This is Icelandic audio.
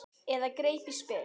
Eða greip í spil.